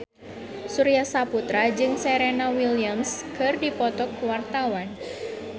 Surya Saputra jeung Serena Williams keur dipoto ku wartawan